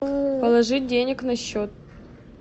положить денег на счет